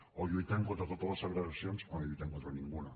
o lluitem contra totes les segregacions o no lluitem contra ninguna